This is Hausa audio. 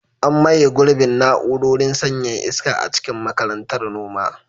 An maye gurbin na'urorin sanyaya iska a cikin Makarantar Noma.